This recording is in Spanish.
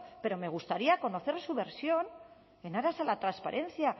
pero me gustaría conocer su versión en aras a la transparencia